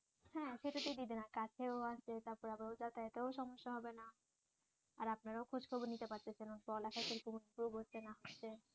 হ্যাঁ সেটাতেই দিয়ে দিন এবং কাছেও আছে তারপর আবার যাতায়াতের সমস্যা হবে না আর আপনারাও খোঁজখবর নিতে পারতেছেন ওর পড়ালেখার হচ্ছে না হচ্ছে